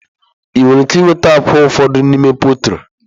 Ị nwere ike nweta akwa ụfọdụ n'ime pọltrị.